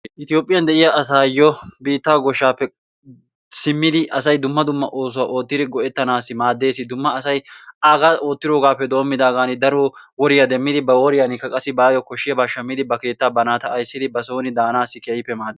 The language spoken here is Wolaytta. Ethophiyan de'iyaa asayo biittaa goshaappe, simmidi asay dumma dumma oosuwa oottidi go'etanassi maadees, dumma asay aga ottidogappe doomidaagan daro woriyaa demidi he ba woryannikka bayo kashiyaba shammidi ba keettaa ba naata ayssidi ba sooni dasnaassi keekippe maadees.